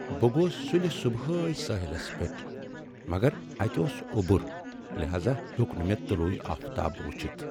بہٕ گوس سُلہِ صبحٲے سٲحِلس پٮ۪ٹھ، مگر اتہِ اوس اوبُر لہاذا ہیوٚک نہٕ مےٚ طلوع آفتاب وُچھِتھ۔